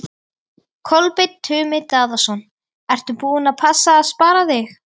Kolbeinn Tumi Daðason: Ertu búin að passa að spara þig?